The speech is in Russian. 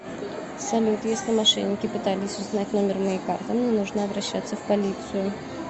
салют если мошенники пытались узнать номер моей карты мне нужно обращаться в полицию